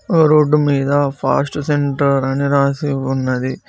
ఆ రోడ్డు మీద fast centre అని రాసి ఉన్నది.